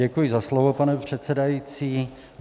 Děkuji za slovo, pane předsedající.